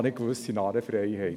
Wir wissen alle: